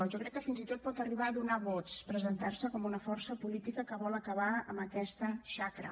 jo crec que fins i tot pot arribar a donar vots presentar se com una força política que vol acabar amb aquesta xacra